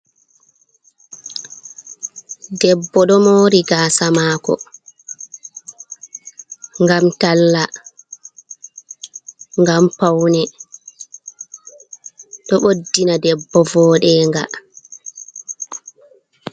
Debbo ɗo muri gasa mako gam talla, gam paune, ɗo ɓoddina debbo vo ɗe nga.